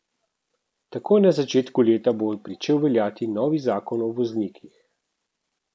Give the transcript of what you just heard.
Takoj na začetku leta bo pričel veljati novi zakon o voznikih.